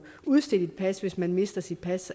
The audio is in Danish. udstedt et pas hvis man mister sit pas